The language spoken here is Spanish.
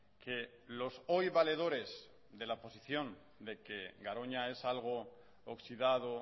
que los hoy valedores de la posición de que garoña es algo oxidado